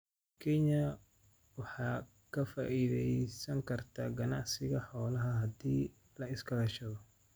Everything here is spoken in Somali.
Kenya waxay ka faa�iidaysan kartaa ganacsiga xoolaha haddii la iska kaashado.